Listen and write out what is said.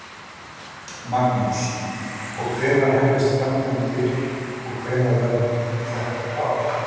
Magnús: Og hvenær hefjast framkvæmdir og hvenær verður þetta klárt?